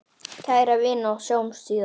Kæra vina, sjáumst síðar.